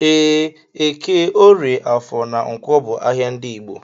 Ee, eke, orie, afọ na ǹkwọ bu ahịa ndị Igbo.